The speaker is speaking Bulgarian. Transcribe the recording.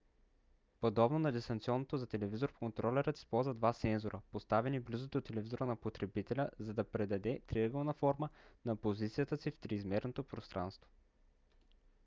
подобно на дистанционното за телевизор контролерът използва два сензора поставени близо до телевизора на потребителя за да предаде триъгълна форма на позицията си в триизмерното пространство